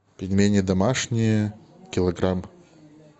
пельмени домашние килограмм